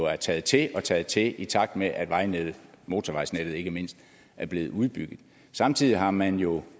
er taget til og taget til i takt med at vejnettet motorvejsnettet ikke mindst er blevet udbygget samtidig har man jo